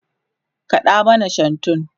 kaɗa mana shantu!